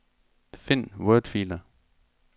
Find wordfiler.